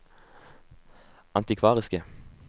antikvariske